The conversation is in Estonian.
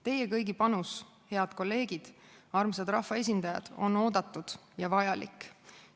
Teie kõigi panus, head kolleegid, armsad rahvaesindajad, on oodatud ja vajalik.